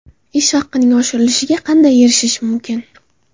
Ish haqining oshirilishiga qanday erishish mumkin?.